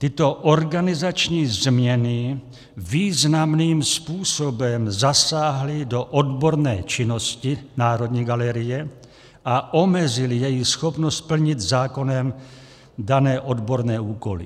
Tyto organizační změny významným způsobem zasáhly do odborné činnosti Národní galerie a omezily její schopnost plnit zákonem dané odborné úkoly.